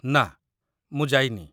ନାଁ, ମୁଁ ଯାଇନି।